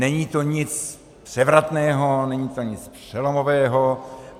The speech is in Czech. Není to nic převratného, není to nic přelomového.